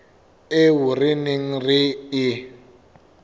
eo re neng re e